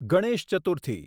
Ganesh Chaturthi